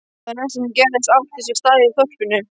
Það næsta sem gerðist átti sér stað í þorpinu.